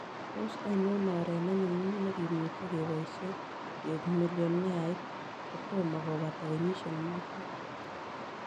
Tos' ainon oret ne nyumnyum ne kimuche ke boisyen keuk millioneait kotomo kobata kenyisiek muut